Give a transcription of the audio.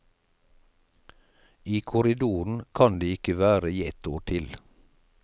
I korridoren kan de ikke være i ett år til.